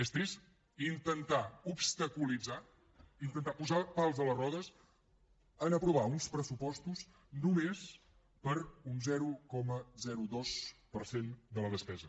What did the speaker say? és trist intentar obstaculitzar intentar posar pals a les rodes a aprovar uns pressupostos només per un zero coma dos per cent de la despesa